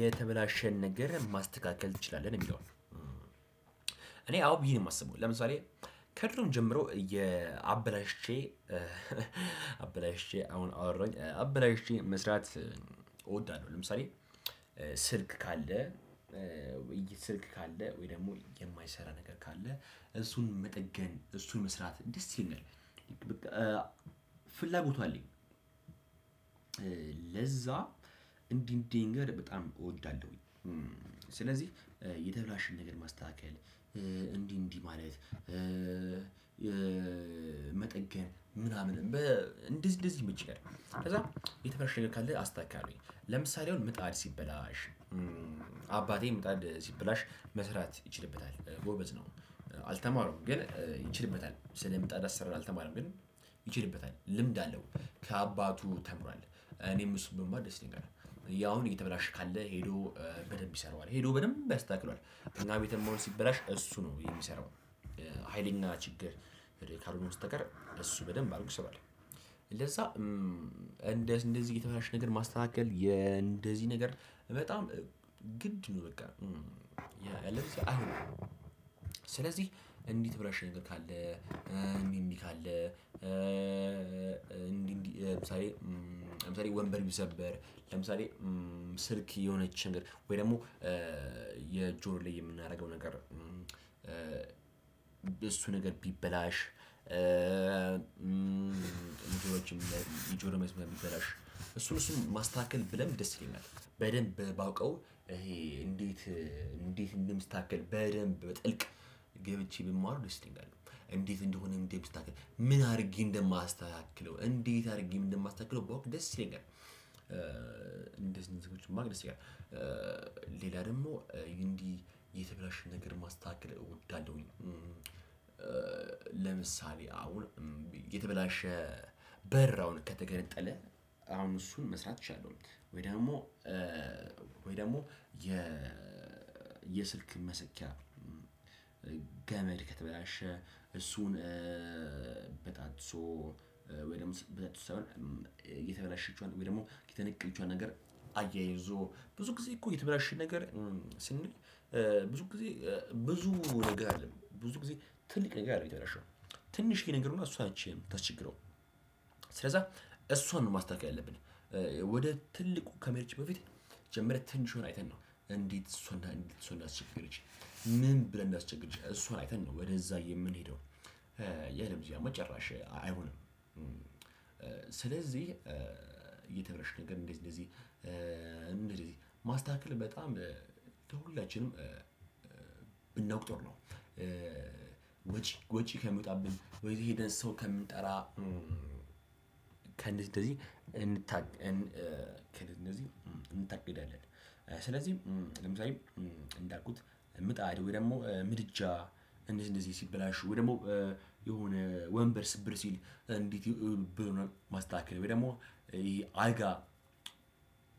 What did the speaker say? የተበላሸን ነገር ማስተካከል ትችላለህ ነው የሚለው? እኔ አዎ ብዬ ነው የማስበው። ለምሳሌ ከድሮም ጀምሮ እየ አበላሽቼ አበላሽቼ አሁን አወራሁኝ አበላሽቼ መስራት እወዳለሁ። ለምሳሌ ስልክ ካለ ስልክ ካለ ወይ ደግሞ የማይሰራ ነገር ካለ እሱን መጠገን እሱን መስራት ደስ ይለኛል። ፍላጎቱ አለኝ። ለዛ እንዲህ እንዲህ ነገር በጣም እወዳለሁኝ። ስለዚህ የተበላሸን ነገር ማስተካከል እንዲህ እንዲህ ማለት መጠገን ምናምን እንደዚህ እንደዚህ ይመቸኛል። ከዛ የተበላሸ ነገር ካለ አስተካክላለሁኝ ለምሳሌ አሁን ምጣድ ሲበላሽ። አባቴ ምጣድ ሲበላሽ መስራት ይችልበታል ጎበዝ ነው። አልተማረም ግን ይችልበታል ስለምጣድ አሰራር አልተማረም ግን ይችልበታል ልምድ አለው። ከአባቱ ተምሯል እኔም እሱን ብማር ደስ ይለኛል። አሁን የተበላሸ ካለ ሄዶ በደንብ ይሰራዋል ሄዶ በደንብ ያስተካክለዋል። እኛ ቤትም አሁን ሲበላሽ እሱ ነው የሚሰራው። ሀይልና ችግር ካልሆነ በስተቀር እሱ በደንብ አድርጎ ይሰራዋል። ለዛ እንደዚህ የተበለሻሸ ነገር ማስተካከል እንደዚህ ነገር በጣም ግድ ነው በቃ ያለበለዚያ አይሆንም። ስለዚህ እንዲህ የተበላሸ ነገር ካለ እንቢ ሚል ካለ። እንዲህ ለምሳሌ ለምሳሌ ወንበር ቢሰበር ለምሳሌ ስልክ የሆነች ነገር ወይ ደግሞ የጆሮ ላይ የምናደርገው ነገር። እሱ ነገር ቢበላሽ እንትኖችም ላይ የጆሮ መስመር ቢበላሽ እሱን እሱን ማስተካከል ብለምድ ደስ ይለኛል። በደንብ ባውቀው ይሄ እንዴት እንዴት እንደሚስተካከል በደንብ በጥልቅ ገብቼ ብማር ደስ ይለኛል። እንዴት እንደሆነ እንዴት ምን አድርጌ እንደማስተካክለው እንዴት አድርጌም እንደማስተካክለው ባውቅ ደስ ይለኛል። እንደዚህ እንደዚህ እንትኖችን ማድረግ ደስ ይላል። ሌላ ደግሞ እንዲህ የተበላሽ ነገር ማስተካከል እወዳለሁኝ። ለምሳሌ አሁን የተበላሸ በር አሁን ከተገነጠለ አሁን እሱን መስራት እችላለሁ። ወይ ደግሞ ወይ ደግሞ የ የስልክ መሰኪያ ገመድ ከተበላሸ እሱን በጣጥሶ ወይ ደግሞ የተበላሸችዋን ወይም ደግሞ የተነቀልችዋን ነገር። አያይዞ ብዙ ጊዜ እኮ የተበላሸ ነገር ስንል ብዙ ጊዜ ብዙ ነገር አይደለም ብዙ ጊዜ ትልቅ ነገር አይደለም የተበላሸው ትንሽዬ ነገር ሆና እሷ ነች የምታስቸግረው። ስለዛ እሷን ነው ማስተካከል ያለብን። ወደ ትልቁ ከመሄዳችን በፊት መጀመሪያ ትንሹን አይተን ነው እንዴት እሱን እሱን እንዳስቸገረች ምን ብላ እንዳስቸገረች እሱን አይተን ነው ወደዛ የምንሄደው። ያለበለዚያማ ጭራሽ አይሆንም። ስለዚህ እየተበላሸ ነገር እንደዚህ እንደዚህ ማስተካከል በጣም ለሁላችንም ብናውቅ ጥሩ ነው። ወጪ ወጪ ከሚወጣብን ወይ የሄደን ሰው ከምንጠራ ከእንደዚህ ከእንደዚ እንድታ እንታገድ እንደዚህ እንታገዳለን። አ ስለዚህ ለምሳሌ እንዳልኩት ምጣድ ወይ ደግሞ ምድጃ እንደዚህ እንደዚህ ሲበላሽ ወይ ደግሞ የሆነ ወንበር ስብር ሲል እንዴት ብሎ ማስተካከል ወይ ደግሞ አልጋ